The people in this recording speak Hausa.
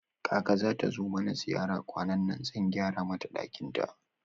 Kaka zata zo mana ziyara kwanannan, zan gyara mata ɗakin ta